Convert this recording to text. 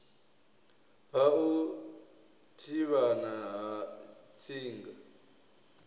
ha u thivhana ha tsinga